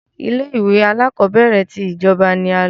Ilé-ìwé alákọọ́bẹ̀rẹ̀ ti ìjọba ni a lọ.